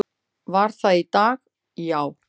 Var það í dag, já?